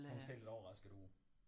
Hun ser lidt overrasket ud